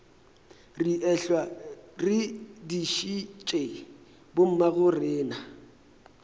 re ehlwa re dišitše bommagorena